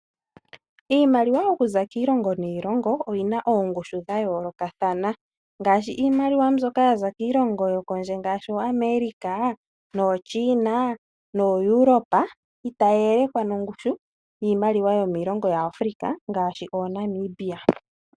Iimaliwa oku za kiilongo niilongo oyi na oongushu dha yoolokathana ngaashi iimaliwa mbyoka ya za kiilongo yokondje ngaashi ooAmerica , nooChina nooEuropa, otayi yelekwa nongushu yiimaliwa yomiilongo yaAfrica ngaashi ooNamibia.